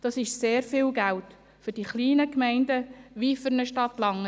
Das ist sehr viel Geld, für die kleinen Gemeinden und auch für eine Stadt wie Langenthal.